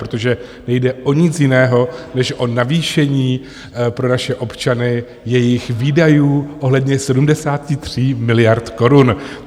Protože nejde o nic jiného než o navýšení pro naše občany jejich výdajů ohledně 73 miliard korun.